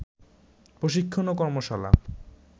প্রশিক্ষণ ও কর্মশালা